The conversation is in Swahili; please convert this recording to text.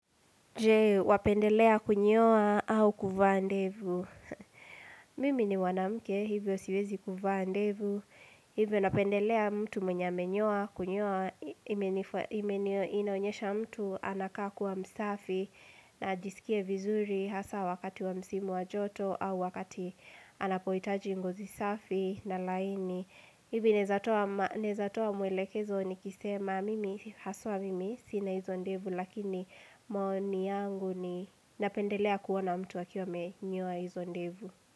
Jee, wapendelea kunyoa au kuvaa ndevu. Mimi ni wanamke, hivyo siwezi kuvaa ndevu. Hivyo napendelea mtu mwenye amenyoa, kunyoa, inaonyesha mtu anakaa kuwa msafi, na ajisikie vizuri hasa wakati wa msimu wa joto, au wakati anapohitaji ngozi safi na laini. Hivyo naeza toa mwelekezo nikisema, mimi haswa mimi, sina hizo ndevu, Lakini maoni yangu ninapendelea kuona mtu akiwa amenyoa hizo ndevu.